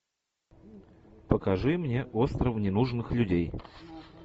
покажи мне остров ненужных людей